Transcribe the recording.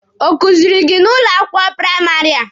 Ọ kuziiri gị n'ụlọ akwụkwọ praịmarị a?